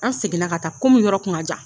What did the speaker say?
An seginna ka taa komi yɔrɔ kun ka jan.